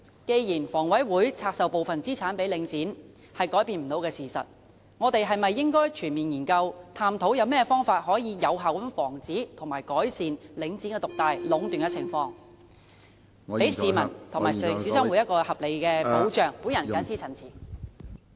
既然房委會拆售部分資產予領展是改變不了的事實，我們是否應該全面研究，探討有何方法能有效防止及改善領展獨大和壟斷的情況，讓市民和小商戶有合理的保障......我謹此陳辭。